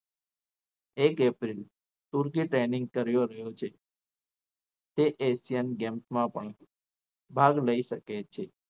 એક એપ્રિલ તુર્કી training રહ્યો છે તે asian games માં પણ ભાગ લઈ શકે છે.